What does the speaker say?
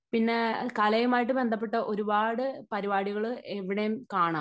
പിന്നെ കലയുമായിട്ട് ബന്ധപ്പെട്ട ഒരുപാട് പരിപാടികൾ എവിടെയും കാണാം.